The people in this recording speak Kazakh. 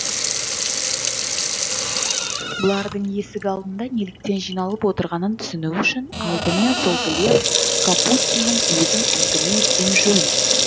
бұлардың есік алдына неліктен жиналып отырғанын түсіну үшін алдымен сол глеб капустиннің өзін әңгіме еткен жөн